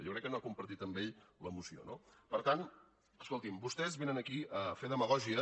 jo crec que no ha compartit amb ell la moció no per tant escolti’m vostès vénen aquí a fer demagògia